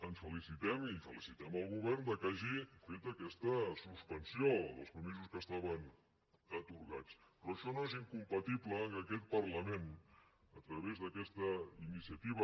ens felicitem i felicitem el govern que hagi fet aquesta suspensió dels permisos que estaven atorgats però això no és incompatible amb el fet que aquest parlament a través d’aquesta iniciativa